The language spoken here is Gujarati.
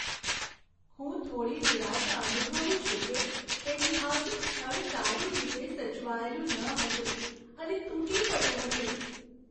હું થોડી નિરાશા અનુભવું છું કે ઐતિહાસિક સ્થળ સારી રીતે સચવાયેલું ન હતું અને તૂટી પડ્યું હતું.